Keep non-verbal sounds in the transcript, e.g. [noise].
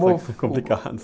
[unintelligible] complicado.